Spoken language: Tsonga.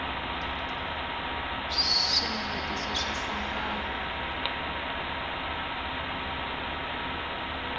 swinavetiso swa sambalo